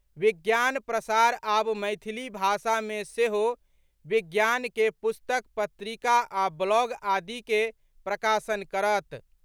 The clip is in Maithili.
विज्ञान प्रसार आब मैथिली भाषा मे सेहो विज्ञान के पुस्तक पत्रिका आ ब्लॉग आदि के प्रकाशन करत।